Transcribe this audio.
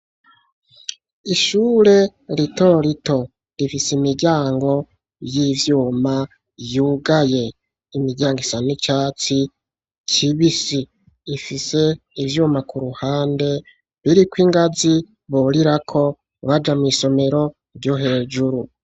Ishure ritorito rifise imiryango y'ivyuma yugaye, iyo miryango isa n'icatsi kibisi, ifise ivyuma ku ruhande biriko ingazi burirako baja mw'isomero ryo hejuru.